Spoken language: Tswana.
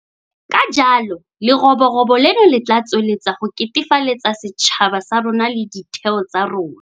Ka jalo leroborobo leno le tla tswelela go ketefaletsa setšhaba sa rona le ditheo tsa rona.